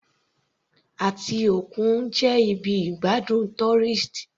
Etí òkun jẹ́ ibi ìgbádùn tourist.